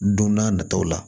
Don n'a nataw la